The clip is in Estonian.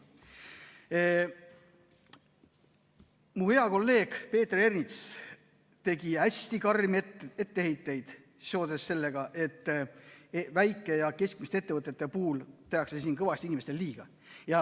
Mu hea kolleeg Peeter Ernits tegi hästi karme etteheiteid seoses sellega, et väikeste ja keskmiste ettevõtete puhul tehakse kõvasti inimestele liiga.